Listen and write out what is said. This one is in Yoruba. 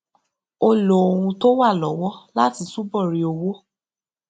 ó lo ohun tó wà lówó láti túbò rí owó